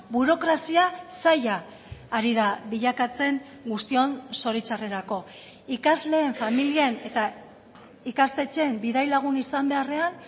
burokrazia saila ari da bilakatzen guztion zoritxarrerako ikasleen familien eta ikastetxeen bidai lagun izan beharrean